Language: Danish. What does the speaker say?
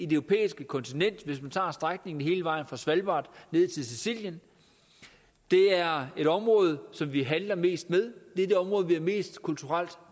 det europæiske kontinent hvis man tager strækningen hele vejen fra svalbard ned til sicilien det er det område som vi handler mest med det er det område vi har mest kulturelt